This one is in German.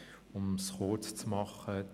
Um mich kurz zu fassen: